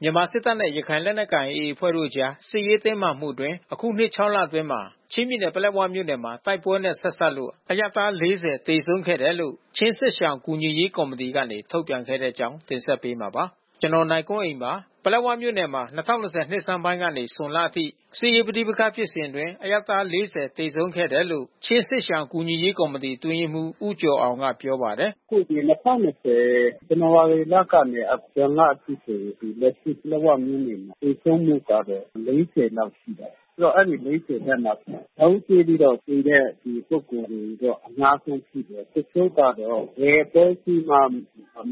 မြန်မာစစ်တပ်နဲ့ ရခိုင်လက်နက်ကိုင် AA အဖွဲ့တို့အကြား စစ်ရေးတင်းမာမှုအတွင်း အခုနှစ် ၆ လအတွင်း ချင်းပြည်နယ် ပလက်ဝမြို့နယ်မှာ တိုက်ပွဲနဲ့ ဆက်စပ်လို့ အရပ်သား ၄၀ သေဆုံးခဲ့တယ်လို့ ချင်းစစ်ရှောင်ကူညီရေးကော်မီတီကနေ ထုတ်ပြန်ခဲ့တဲ့အကြောင်းကို ဗွီအိုအေမြန်မာပိုင်း သတင်းထောက် ကိုနိုင်ကွန်းအိန်က တင်ဆက်ပေးမှာပါ။ ပလက်ဝမြို့နယ်မှာ ၂၀၂၀ နှစ်ဆန်းပိုင်းကနေဇွန်လအထိ စစ်ရေးပဋိပက္ခဖြစ်စဉ်အတွင်း အရပ်သား ၄၀ ခန့် သေဆုံးခဲ့တယ်လို့ ချင်းစစ်ရှောင်ကူညီရေးကော်မီတီအတွင်းရေးမှူး ဦးကျော်အောင်က ပြောပါတယ်။ “အခုဒီ ဇန်နဝါရီလကနေ ဇွန်လအထိဆိုရင် လက်ရှိ ပလက်ဝမြို့နယ်သေဆုံးမှုကတော့ ၄၉ လောက်ရှိပါပြီး။ အဲဒီ ၄၀ ထဲ မှာ ဗုံးကြဲပြီးတော့သေတဲ့ လူပုဂ္ဂိုလ်တွေတော့ အများဆုံးရှိတယ်။ တချို့ကတော့ ဘယ်အဖွဲ့အစည်းမှ မ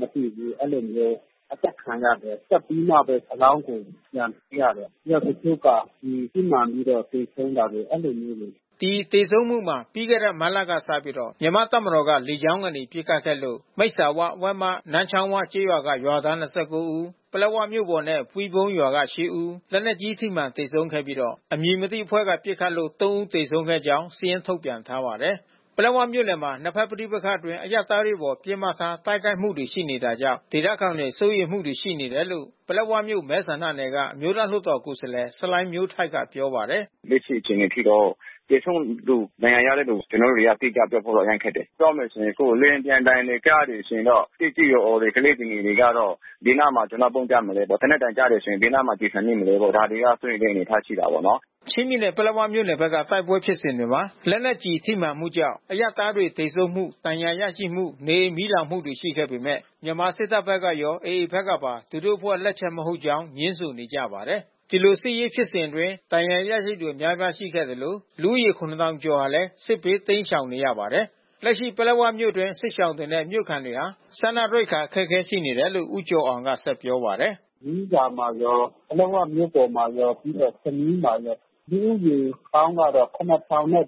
သိဘူး။ အဲဒီလိုမျိုး အသတ်ခံရတယ်။ သတ်ပြီးမှပဲ အလောင်းတွေပြန်တွေ့ရတယ်။ တချို့က ကျည်ထိမှန်ပြီးတော့ သေဆုံးရတယ်။ အဲဒီလိုမျိုးတွေ။” ဒီသေဆုံးမှုမှာ ပြီးခဲ့တဲ့ မတ်လကစပြီး မြန်မာ့တပ်မတော်က လေကြောင်းကနေ ပစ်ခတ်ခဲ့လို့ မိတ်စာဝ၊ ဝက်မ၊ နန်းချောင်း၊ ၀ ကျေးရွာက ရွာသား ၂၉ ဦး၊ ပလက်ဝမြို့ပေါ်နဲ့ ပီၤွဝုန်းရွာက ၈ ဦး လက်နက်ကြီး ထိမှန်သေဆုံးခဲ့ပြီး အမည်မသိ အဖွဲ့က ပစ်ခတ်လို့ ၃ ဦး သေဆုံးခဲ့ကြောင်း စာရင်းထုတ်ပြန်ထားပါတယ်။ ပလက်ဝမြို့နယ်မှာ နှစ်ဘက်ပဋိပက္ခအတွင်း အရပ်သားတွေအပေါ် ပစ်မှတ်ထား တိုက်ခိုက်မှုတွေ ရှိနေတာကြောင့် ဒေသခံတွေ စိုးရိမ်မှုတွေ ရှိနေတယ်လို့ ပလက်ဝမြို့နယ်မဲဆန္ဒနယ်က အမျိုးသားလွှတ်တော် ကိုယ်စားလှယ် ဆလိုင်းမျိုးထိုက်က ပြောပါတယ်။ “အခုလက်ရှိ အခြေအနေအထိတော့ သေဆုံးသူ ဒဏ်ရာရတဲ့သူက ကျနော်တို့တွေက အတိကျပြောဖို့တော့ အရမ်းခက်တယ်။ ပြောမယ်ဆိုရင်တော့ လေယာဉ်ပျံသံတွေ ကြားတယ်ဆိုရင်တော့ သက်ကြီးရွယ်အိုတွေ ကလေးသူငယ်တွေကတော့ ဘယ်နားမှာ ပုန်းကြမလဲပေါ့။ သေနတ်သံကြားရင် ဘယ်နားမှာ ကျည်ဆံ မိမလဲပေါ့။ ဒါတွေက စိုးရိမ်စရာ အနေ အထားရှိတာပေါ့နော်။” ချင်းပြည်နယ် ပလက်ဝမြို့နယ်ဘက်က တိုက်ပွဲဖြစ်စဉ်တွေမှာ လက်နက်ကျည်ထိမှန်မှုကြောင့် အရပ်သားတွေသေဆုံးမှု၊ ဒဏ်ရာရမှု၊ နေအိမ်မီလောင်မှုတွေရှိခဲ့ပေမဲ့ မြန်မာစစ်တပ်ဘက်ကရော AA ဘက်ကပါ သူတို့အဖွဲ့လက်ချက် မဟုတ်ကြောင်း ငြင်းဆိုနေကြပါတယ်။ ဒီလိုစစ်ရေးဖြစ်စဉ်အတွင်း ဒဏ်ရာရရှိသူအများအပြားရှိခဲ့သလို လူဦးရေ ၇,၀၀၀ ကျော်ဟာလည်း စစ်ဘေးတိမ်းရှောင်နေရပါတယ်။ လက်ရှိ ပလက်ဝမြို့အတွင်း စစ်ရှောင်တွေနဲ့ မြို့ခံတွေဟာ စားနပ်ရိက္ခာအခက်ခဲ ရှိနေတယ်လို့ ဦးကျော်အောင်က ဆက်ပြောပါတယ်။ “မီးစာမှာရော၊ ပလက်ဝမြို့ပေါ်မှာရော ပြီးတော့ဆမီးမှာလည်း လူဦးရေပေါင်းကတော့ ၇,၁၅၄ ကျနော်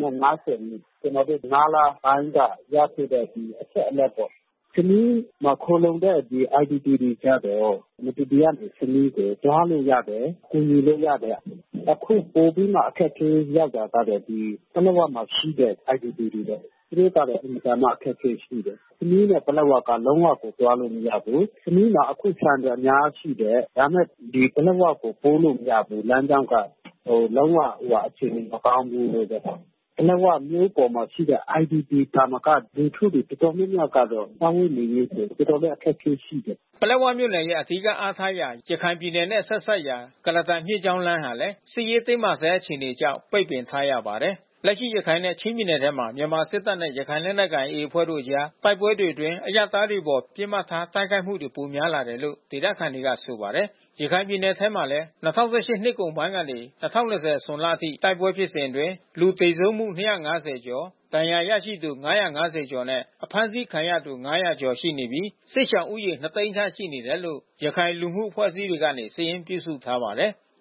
တို့ ၅ လပိုင်းက ရခဲ့တဲ့အချက်အလက်ပေါ့။ ဆမီးမှာ ခိုလှုံတဲ့ IDP တွေကျတော့ မတူပီကနေ ဆမီးကိုသွားလို့ရတယ်။ ကူညီလို့ ရတယ်။ အခုပိုပြီးမှ အခက်ခဲရတာက ပလက်ဝမှာရှိတဲ့ IDP တွေပေါ့။ သူတို့ကတော့ အင်မတန်မှ အခက်ခဲရှိတယ်။ ဆမီးနဲ့ ပလက်ဝက လုံးဝကိုသွားလို့ မရဘူး။ ဆမီးမှာ အခုဆန်တွေ အများကြီးရှိတယ်။ ဒါပေမဲ့ ဒီပလက်ဝကို ပို့လို့ မရဘူး။ လမ်းကြောင်းက လုံး၀ အခြေအနေမကောင်းဘူး။ ပလက်ဝမြို့ပေါ်မှာရှိတဲ့ IDP တွေသာမက လူထုတွေတော်တော်များများကတော့ စားဝတ်နေရေးတွေတော်တော်လည်း အခက်ခဲရှိတယ်။” ပလက်ဝမြို့နယ်ရဲ့ အဓိကအားထားရာ ရခိုင်ပြည်နယ်နဲ့ ဆက်စပ်ရာ ကုလားတန်မြစ်ကြောင်းလမ်းဟာလည်း စစ်ရေးတင်းမာဆဲ အခြေအနေကြောင့် ပိတ်ပင်ထားရပါတယ်။ လက်ရှိရခိုင်နဲ့ ချင်းပြည်နယ်ထဲမှာ မြန်မာစစ်တပ်နဲ့ ရခိုင်လက်နက်ကိုင် AA အဖွဲ့တို့ အကြား တိုက်ပွဲတွေအတွင်း အရပ်သားတွေအပေါ် ပစ်မှတ်ထားတိုက်ခိုက်မှုတွေ ပိုများလာတယ်လို့ ဒေသခံတွေက ဆိုပါတယ်။ ရခိုင်ပြည်နယ်ထဲမှာလဲ ၂၀၁၈နှစ်ကုန်ပိုင်းကနေ ၂၀၂၀ ဇွန်လအထိ တိုက်ပွဲဖြစ်စဉ်အတွင်း လူသေဆုံးမှု ၂၅၀ ကျော် ဒဏ်ရာရရှိသူ ၅၅၀ ကျော်နဲ့ အဖမ်းဆီးခံရသူ ၅၀၀ ကျော်ရှိနေပြီးစစ်ရှောင်ဦးရေ ၂၀၀,၀၀၀ သိန်းခန့် ရှိနေတယ်လို့ ရခိုင်လူမှုအဖွဲ့အစည်းတွေက စာရင်းပြုစုထားပါတယ်။